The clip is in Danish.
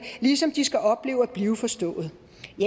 ligesom de skal opleve at blive forstået